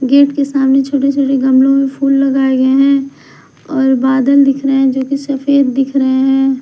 Gate के सामने छोटे छोटे गमलों में फूल लगाए गए हैं और बादल दिख रहे हैं जो कि सफेद दिख रहे हैं।